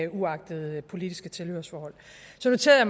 uagtet politisk tilhørsforhold så noterede